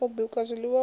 u bika zwiiwa u nwa